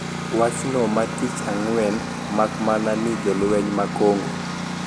Wachno ma tich ang`wen mak mana ni jolweny ma Congo